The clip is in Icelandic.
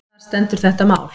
Þar stendur þetta mál.